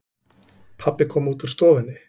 Pabbi kom út úr stofunni.